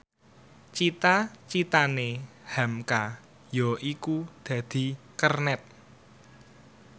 cita citane hamka yaiku dadi kernet